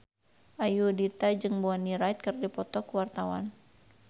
Ayudhita jeung Bonnie Wright keur dipoto ku wartawan